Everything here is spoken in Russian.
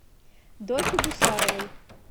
доке гусаровой